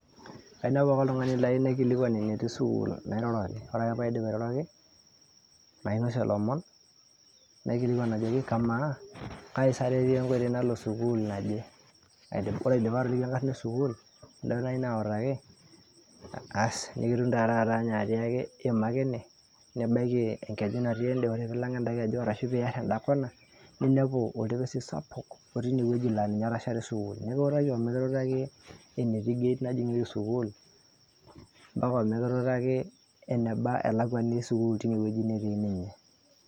kainepu ake oltung'ani layieu naikilikuana enetii sukul nairoroki ore ake paidip airoroki nainosie ilomon naikilikuan ajoki kamaa kaisa tetii enkoitoi nalo sukul naje ore aidipa atoliki enkarrna esukul duo nayieu nautaki asi nikitum taa taata ninye atiaki iima ake ene nibaiki enkeju natii ende ore piilang enda keju arashu piarr enda kona ninepu oltepesi sapuk otii inewueji laa ninye etashare sukuul nikiutaki omikitutaki enetii eneti gate najing'ieki sukul mpaka omikitutaki eneba elakuani esukul tinewueji netii ninye.